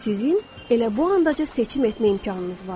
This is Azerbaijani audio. Sizin elə bu ancaq seçim etmək imkanınız var.